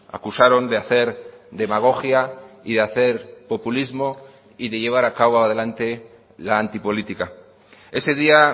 acusaron de hacer demagogia y de hacer populismo y de llevar a cabo adelante la antipolítica ese día